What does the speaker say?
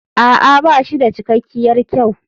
A'a ba shi da cikakkiyar kyau.